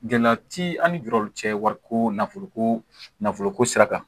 Gɛlɛya ti an ni juru cɛ wariko nafolo ko nafolo ko sira kan